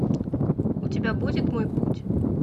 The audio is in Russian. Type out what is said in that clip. у тебя будет мой путь